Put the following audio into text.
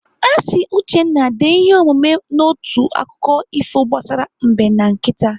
Asị Uchenna dee ihe omume n'otu akụkọ ifo gbasara Mbe na nkịta.